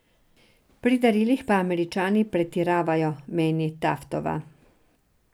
Pri darilih pa Američani pretiravajo, meni Taftova.